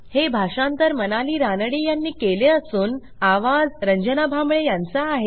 हे भाषांतर मनाली रानडे ह्यांनी केले असून आवाज रंजना भांबळे यांचा आहे